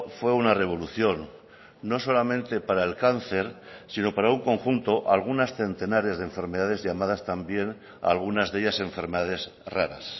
fue una revolución no solamente para el cáncer sino para un conjunto algunas centenares de enfermedades llamadas también algunas de ellas enfermedades raras